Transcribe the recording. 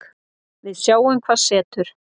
Við sjáum hvað setur